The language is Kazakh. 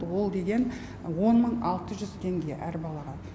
ол деген он мың алты жүз теңге әр балаға